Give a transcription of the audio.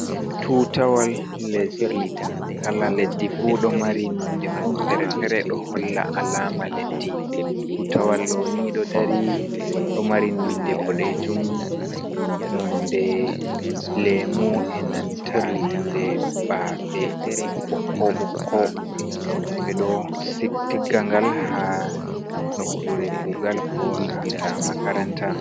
"Tutawal lesdi" kala leddi fu ɗo mari nonde mum fere - fere ɗo holla alama leddi. Tutawal ɗoni ɗo dari ɗo mari nonde ɓoɗejum, nonde lemu, enanta nonde baafe ɓokko ɓokko ɓeɗo tigga ngal ha nokkure kugal ko nanta makaranta.